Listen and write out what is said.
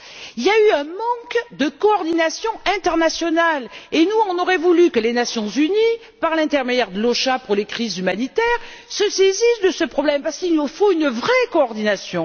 Il y a eu un manque de coordination internationale et nous aurions voulu que les Nations unies, par l'intermédiaire de l'OCHA pour les crises humanitaires, se saisissent de ce problème, parce qu'il nous faut une vraie coordination.